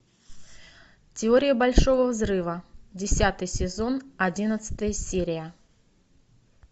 теория большого взрыва десятый сезон одиннадцатая серия